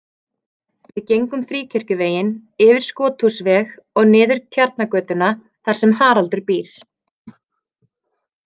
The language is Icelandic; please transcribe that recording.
Við gengum Fríkirkjuveginn, yfir Skothúsveg og niður Tjarnargötuna þar sem Haraldur býr.